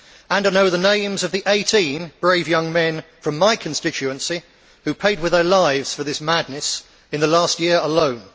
And I know the names of the 18 brave young men from my constituency who paid with their lives for this madness in the last year alone.